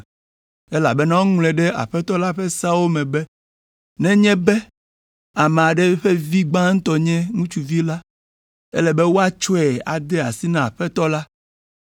(elabena woŋlɔe ɖe Aƒetɔ la ƒe seawo me be, “Nenye be ame aɖe ƒe vi gbãtɔ nye ŋutsuvi la, ele be wòatsɔe ade asi na Aƒetɔ la”).